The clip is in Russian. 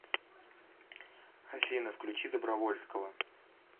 афина включи добровольского